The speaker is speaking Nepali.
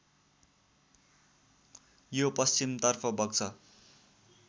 यो पश्चिमतर्फ बग्छ